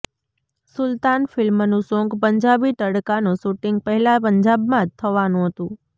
સુલતાન ફિલ્મનું સોંગ પંજાબી તડકાનું શૂટિંગ પહેલા પંજાબમાં જ થવાનું હતું